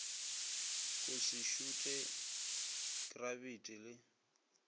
go se šuthe krabiti le